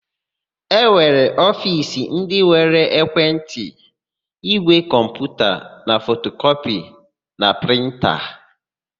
E nwere ofiisi ndị nwere ekwentị, ígwè kọmputa, fotokọpịa na prịnta.